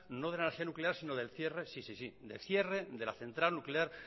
no de la energía nuclear sino del cierre sí sí sí del cierre de la central nuclear